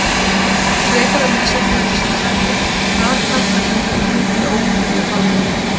Frekara lesefni á Vísindavefnum: Hvað tákna hringirnir í ólympíufánanum?